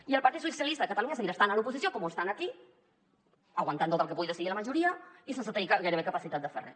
i el partit socialista de catalunya seguirà estant a l’oposició com ho estan aquí aguantant tot el que pugui decidir la majoria i sense gairebé capacitat de fer res